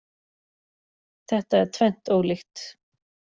Þetta er tvennt ólíkt